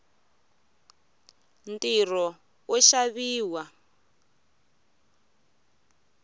ntirho wo xaviwa